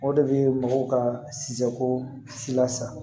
O de bɛ mɔgɔw ka sija ko si la sa